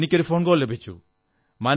എനിക്ക് ഒരു phone call ലഭിച്ചു